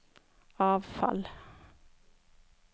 avfall